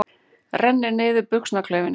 Rennir niður buxnaklaufinni.